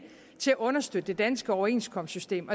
til at understøtte det danske overenskomstsystem